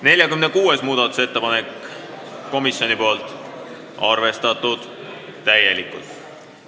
46. muudatusettepanek on komisjonilt, arvestatud täielikult.